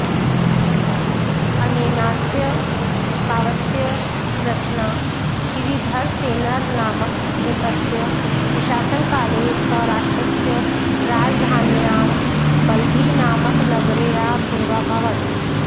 अनेनास्य काव्यस्य रचना श्रीधरसेनर्नामकनृपस्य प्रशासनकाले सौराष्ट्रस्य राजधान्यां बलभीनामकनगर्यामेवाभवत्